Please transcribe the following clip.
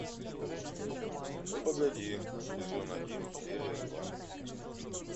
ну погоди сезон один серия два